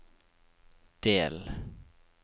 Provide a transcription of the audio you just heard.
del